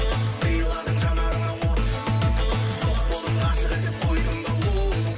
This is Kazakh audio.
сыйладың жанарыма от жоқ болдың ғашық етіп қойдың да оу